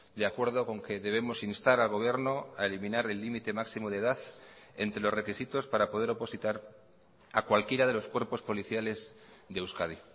de acuerdo con que debemos instar al gobierno a eliminar el límite máximo de edad entre los requisitos para poder opositar a cualquiera de los cuerpos policiales de euskadi